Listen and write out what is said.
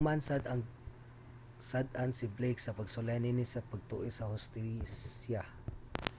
nahukman sad nga sad-an si blake sa pagsulay niini sa pag-tuis sa hustisya